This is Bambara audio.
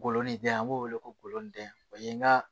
Golo ni den an b'o wele ko goloden o ye nga